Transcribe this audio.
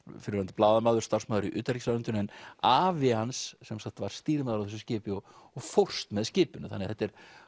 fyrrverandi blaðamaður starfsmaður í utanríkisráðuneytinu en afi hans var stýrimaður á þessu skipi og og fórst með skipinu þannig að þetta er